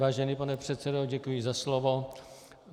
Vážený pane předsedo, děkuji za slovo.